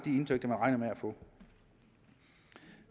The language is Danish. indtægter man regner med at få